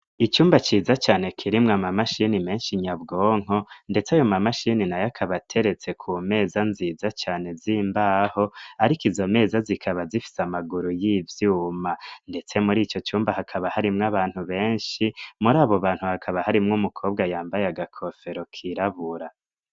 Icumba ciza cane kirimwa ama mashini menshi nyabwonko, ndetse yo ma mashini na yo akabateretse ku meza nziza cane zimbaho, ariko izo meza zikaba zifise amaguru y'ivyuma, ndetse muri ico cumba hakaba harimwo abantu benshi muri abo bantu hakaba harimwo umukobwa yambaye agakofero kirabura.